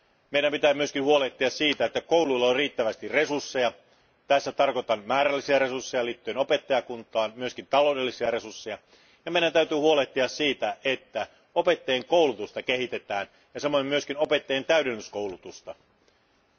Meidän pitää myös huolehtia siitä, että kouluilla on riittävästi resursseja tällä tarkoitan määrällisiä resursseja liittyen opettajakuntaan ja myös taloudellisia resursseja ja meidän täytyy huolehtia siitä, että opettajien koulutusta ja samoin opettajien täydennyskoulutusta kehitetään.